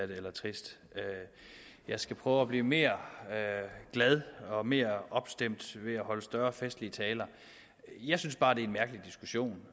det eller trist jeg skal prøve at blive mere glad og mere opstemt ved at holde mere festlige taler jeg synes bare det er en mærkelig diskussion